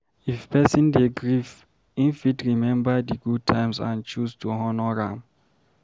If person dey grief im fit remember di good times and choose to honor am